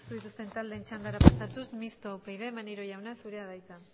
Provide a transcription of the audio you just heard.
dituzten taldeen txandara pasatuz mistoa upyd maneiro jauna zurea da hitza